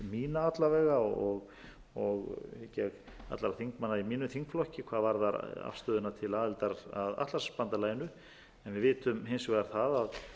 mína alla vega og hygg ég allra þingmanna í efnum þingflokki hvað varðar afstöðuna til aðildar að atlantshafsbandalaginu við vitum hins vegar það að það er ekki útlit fyrir